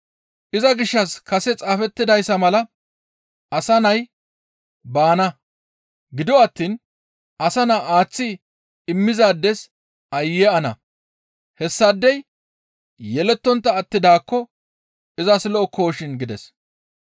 Iza gishshas kase xaafettidayssa mala Asa Nay baana; gido attiin Asa Naa aaththi immizaades aayye ana! Hessaadey yelettontta attidaakko izas lo7okkoshin» gides.